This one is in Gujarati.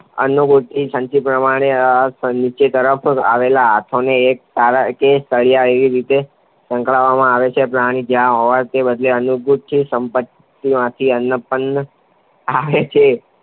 તેમાં અન્નગુટિકા સંચયપેટીને અને પેટીની નીચેની તરફ આવેલા હાથાને એક તાર કે સળિયાથી એવી રીતે સાંકળવામાં આવે છે કે પ્રાણી જ્યારે હાથો દબાવે ત્યારે અન્નગુટિકા સંચયપેટીમાંથી અન્નપાત્રમાં આવે છે.